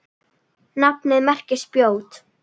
Nafnið merkir spjót.